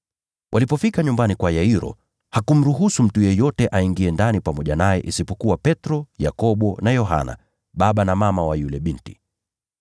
Walipofika nyumbani kwa Yairo, hakumruhusu mtu yeyote aingie ndani naye isipokuwa Petro, Yakobo na Yohana, pamoja na baba na mama wa yule binti.